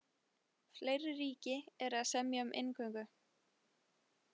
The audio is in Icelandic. Fleiri ríki eru að semja um inngöngu.